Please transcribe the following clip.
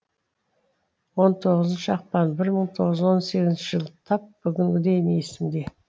он тоғызыншы ақпан мың тоғыз жүз он сегізінші жыл тап бүгінгідей есімде